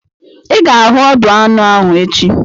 I ga-ahụ ọdụ anụ ahụ echi!